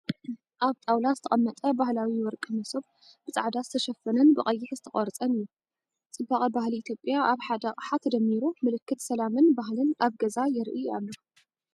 ኣብ ጣውላ ዝተቐመጠ ባህላዊ ወርቂ መሶብ ፡ ብጻዕዳ ዝተሸፈነን ብቐይሕ ዝተቖርጸን እዩ። ጽባቐ ባህሊ ኢትዮጵያ ኣብ ሓደ ኣቕሓ ተደሚሩ፡ ምልክት ሰላምን ባህልን ኣብ ገዛ የርኢ ኣሎ።